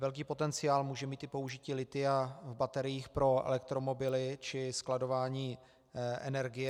Velký potenciál může mít i použití lithia v bateriích pro elektromobily či skladování energie.